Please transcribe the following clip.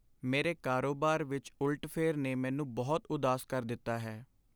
ਮੇਰੇ ਕਾਰੋਬਾਰ ਵਿੱਚ ਉਲਟਫੇਰ ਨੇ ਮੈਨੂੰ ਬਹੁਤ ਉਦਾਸ ਕਰ ਦਿੱਤਾ ਹੈ।